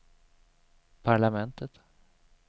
parlamentet